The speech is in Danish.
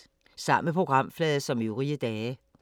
Samme programflade som øvrige dage